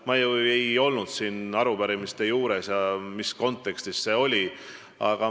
Ma ei olnud siin arupärimiste arutelu juures ega tea, mis see kontekst oli.